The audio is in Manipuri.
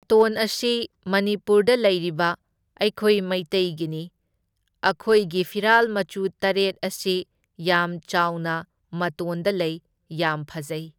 ꯃꯇꯣꯟ ꯑꯁꯤ ꯃꯅꯤꯄꯨꯔꯗ ꯂꯩꯔꯤꯕ ꯑꯩꯈꯣꯏ ꯃꯩꯇꯩꯒꯤꯅꯤ, ꯑꯈꯣꯏꯒꯤ ꯐꯤꯔꯥꯜ ꯃꯆꯨ ꯇꯔꯦꯠ ꯑꯁꯤ ꯌꯥꯝ ꯆꯥꯎꯅ ꯃꯇꯣꯟꯗ ꯂꯩ, ꯌꯥꯝ ꯐꯖꯩ ꯫